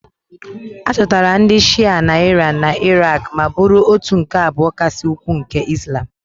A chọtara ndị Shịa na Iran na Iraq ma bụrụ òtù nke abụọ kasị ukwuu nke Izlam